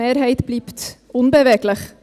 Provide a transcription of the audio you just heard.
Die Mehrheit bleibt unbeweglich.